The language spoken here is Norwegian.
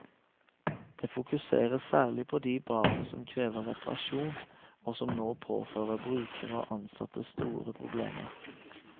Det fokuseres særlig på de badene som krever reparasjon, og som nå påfører brukere og ansatte store problemer.